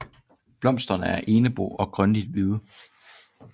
Blomsterne er enbo og grønligt hvide